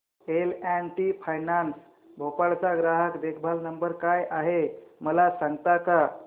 L and T finance Bhopal चा ग्राहक देखभाल नंबर काय आहे मला सांगता का